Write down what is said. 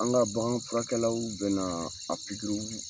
An ka baganfurakɛlaw bɛna na a